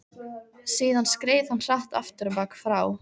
Síðan skreið hann hratt afturábak frá